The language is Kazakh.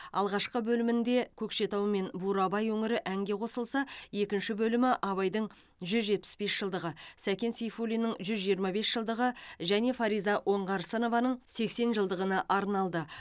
алғашқы бөлімінде көкшетау мен бурабай өңірі әңге қосылса екінші бөлімі абайдың жүз жетпіс бес жылдығы сәкен сейфуллиннің жүз жиырма бес жылдығы және фариза оңғарсынованың сексен жылдығына арналды